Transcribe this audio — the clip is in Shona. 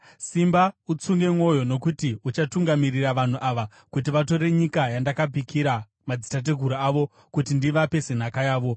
“Simba utsunge mwoyo, nokuti uchatungamirira vanhu ava kuti vatore nyika yandakapikira madzitateguru avo kuti ndivape senhaka yavo.